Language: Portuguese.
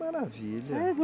Que maravilha!